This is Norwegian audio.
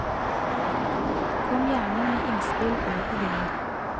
Kom gjerne med innspill og ideer.